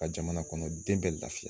Ka jamana kɔnɔ den bɛɛ lafiya